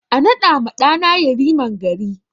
A naɗa ma ɗa na Yariman gari